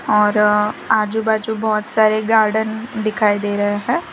और आजू बाजू बहुत सारे गार्डन दिखाई दे रहे हैं।